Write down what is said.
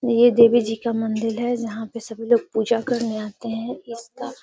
यह देवी जी का मंदिर है जहाँ पे सभी लोग पूजा करने आते हैं। इसका --.